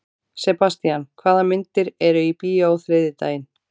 Sebastian, hvaða myndir eru í bíó á þriðjudaginn?